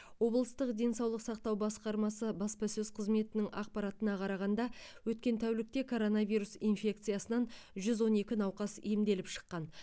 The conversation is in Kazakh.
облыстық денсаулық сақтау басқармасы баспасөз қызметінің ақпаратына қарағанда өткен тәулікте коронавирус инфекциясынан жүз он екі науқас емделіп шыққан